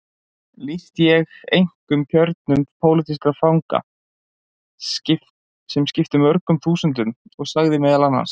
Lýsti ég einkum kjörum pólitískra fanga sem skiptu mörgum þúsundum og sagði meðal annars